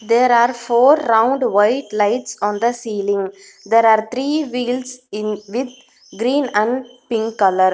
There are four round white lights on the ceiling there are three wheels in with green and pink colour.